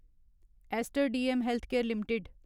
Aster DM healthcare limited